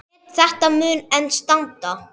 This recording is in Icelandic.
Met þetta mun enn standa.